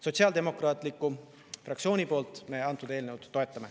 Sotsiaaldemokraatliku fraktsioon antud eelnõu toetab.